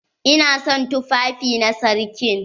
Ina son tufafi na sarkin.